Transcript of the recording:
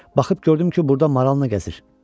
Baxıb gördüm ki, burda maralına gəzir.